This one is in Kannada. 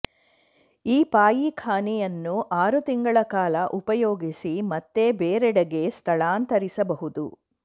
ಈ ಪಾಯಿಖಾನೆಯನ್ನು ಆರು ತಿಂಗಳ ಕಾಲ ಉಪಯೋಗಿಸಿ ಮತ್ತೆ ಬೇರೆಡೆಗೆ ಸ್ಥಳಾಂತರಿಸಬಹುದು